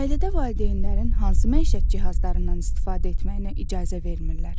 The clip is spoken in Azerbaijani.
Ailədə valideynlərin hansı məişət cihazlarından istifadə etməyinə icazə vermirlər?